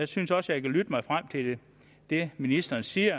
synes også jeg kan lytte mig frem til det ministeren siger